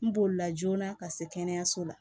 N bolila joona ka se kɛnɛyaso la